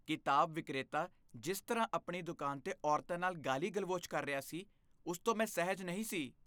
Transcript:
ਕਿਤਾਬ ਵਿਕਰੇਤਾ ਜਿਸ ਤਰ੍ਹਾਂ ਆਪਣੀ ਦੁਕਾਨ 'ਤੇ ਔਰਤਾਂ ਨਾਲ ਗਾਲੀ ਗਲੋਚ ਕਰ ਰਿਹਾ ਸੀ, ਉਸ ਤੋਂ ਮੈਂ ਸਹਿਜ ਨਹੀਂ ਸੀ